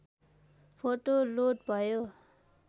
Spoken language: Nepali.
फोटा लोड भयो